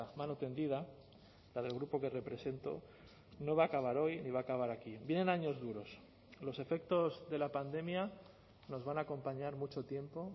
mano tendida la del grupo que represento no va a acabar hoy ni va a acabar aquí vienen años duros los efectos de la pandemia nos van a acompañar mucho tiempo